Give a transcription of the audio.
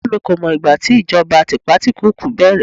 ìyá mi ko mọ ìgbà tí ìjọba tipatikuuku bẹrẹ